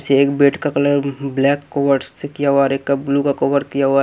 से एक बेड का कलर ब्लैक से किया हुआ और एक का ब्लू का कोवर दिया हुआ --